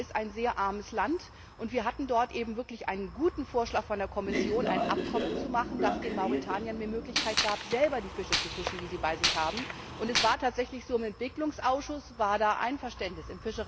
Mauretanien ist ein sehr armes Land, und wir hatten dort einen guten Vorschlag von der Kommission, ein Abkommen zu machen, das den Mauretaniern mehr Möglichkeiten gab, selber die Fische zu fischen, die sie bei sich haben. Es war tatsächlich so, im Entwicklungsausschuss war da Einverständnis.